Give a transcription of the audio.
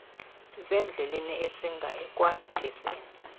sisendleleni esinga ekwandiseni